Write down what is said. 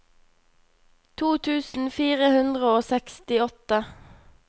to tusen fire hundre og sekstiåtte